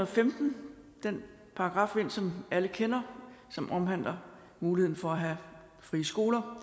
femten den paragraf ind som alle kender som omhandler muligheden for at have frie skoler